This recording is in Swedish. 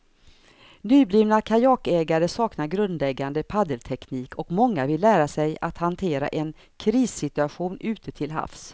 Nyblivna kajakägare saknar grundläggande paddelteknik och många vill lära sig att hantera en krissituation ute till havs.